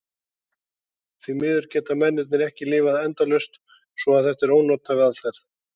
Því miður geta mennirnir ekki lifað endalaust svo að þetta er ónothæf aðferð.